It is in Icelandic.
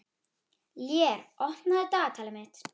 Lér, opnaðu dagatalið mitt.